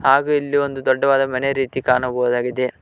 ಹಾಗೆ ಇಲ್ಲಿ ಒಂದು ದೊಡ್ಡವಾದ ಮನೆ ರೀತಿ ಕಾಣಬಹುದಾಗಿದೆ.